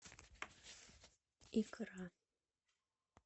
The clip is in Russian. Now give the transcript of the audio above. икра